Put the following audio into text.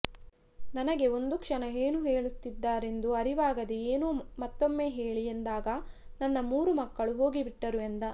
ನನಗೆ ಒಂದು ಕ್ಷಣ ಏನು ಹೇಳುತ್ತಿದ್ದಾರೆಂದು ಅರಿವಾಗದೆ ಏನು ಮತ್ತೊಮ್ಮೆ ಹೇಳಿ ಎಂದಾಗ ನನ್ನ ಮೂರು ಮಕ್ಕಳು ಹೋಗಿಬಿಟ್ಟರು ಎಂದ